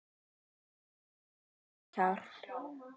Og telja í sig kjark.